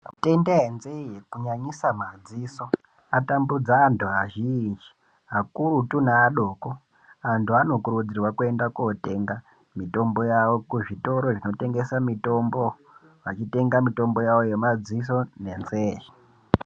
Mitenda yenzee kunyanyisa madziso atambudza antu azhinji akurutu neadoko antu anokurudzirwa kuenda kunotenga mitombo yawo kuzvitoro zvinotengesa mitombo vachitenga mitombo yawo yemadziso nenzee.